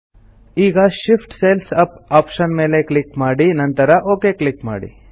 ಈಗ Shift cells up option ಮೇಲೆ click ಮಾಡಿ ನಂತರ ಒಕ್ ಕ್ಲಿಕ್ ಮಾಡಿ